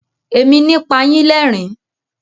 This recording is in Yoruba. Èmi ni pa yín lẹ́rìn-ín.